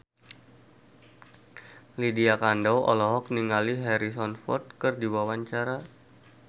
Lydia Kandou olohok ningali Harrison Ford keur diwawancara